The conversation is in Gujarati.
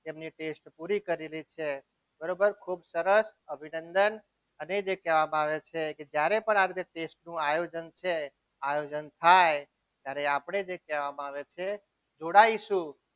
તેમની test પૂરી કરેલી છે બરોબર ખુબ સરસ અભિનંદન અને જે કહેવામાં આવે છે. જ્યારે પણ આ test નું આયોજન થાય ત્યારે આપણે જે કહેવામાં આવે છે જોડાઈશું.